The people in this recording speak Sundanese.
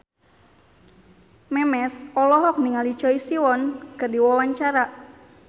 Memes olohok ningali Choi Siwon keur diwawancara